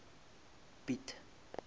piet